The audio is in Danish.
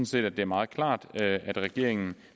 set at det er meget klart at regeringen